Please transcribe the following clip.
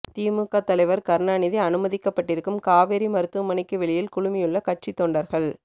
திமுக தலைவர் கருணாநிதி அனுமதிக்கப்பட்டிருக்கும் காவேரி மருத்துவமனைக்கு வெளியில் குழுமியுள்ள கட்சி தொண்டர்கள்